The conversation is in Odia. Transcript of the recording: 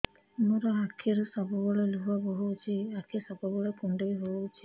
ମୋର ଆଖିରୁ ସବୁବେଳେ ଲୁହ ବୋହୁଛି ଆଖି ସବୁବେଳେ କୁଣ୍ଡେଇ ହଉଚି